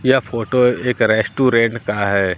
यह फोटो एक रेस्टोरेंट का है।